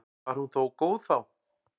Var hún þó góð þá.